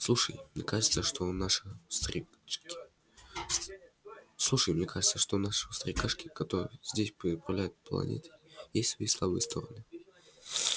слушай мне кажется что у нашего старикашки который здесь заправляет планетой есть свои слабые стороны